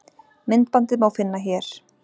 Myndbandið má finna hér.